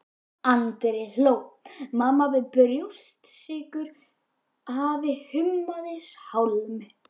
Andri hló, mamma bauð brjóstsykur, afi hummaði sálm.